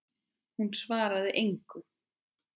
Hún svaraði engu.